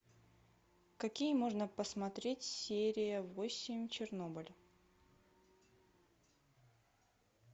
какие можно посмотреть серия восемь чернобыль